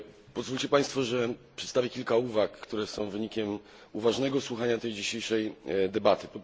Pozwólcie Państwo, że przedstawię kilka uwag, które są wynikiem uważnego słuchania dzisiejszej debaty.